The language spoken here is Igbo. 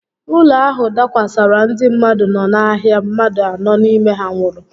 Ụlọ ahụ dakwasara ndị mmadụ no n'ahịa, mmadụ anọ n'ime ha nwụrụ